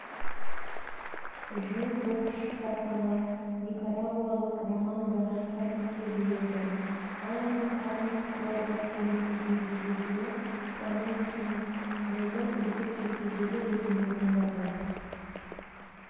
жыл боксшысы атағы никарагуалық роман гонсалеске бұйырды ал оның карлос куадраспен өткізген кездесуі промоушеннің жылғы үздік жекпе-жегі ретінде таңдалды